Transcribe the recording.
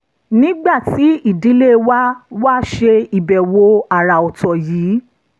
nígbà tí ìdílé wa wá ṣe ìbẹ̀wò àrà ọ̀tọ̀ yìí